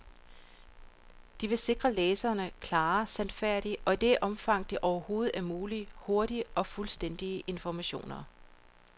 De vil sikre læserne klare, sandfærdige og i det omfang det overhovedet er muligt, hurtige og fuldstændige informationer.